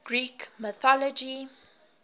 greek mythology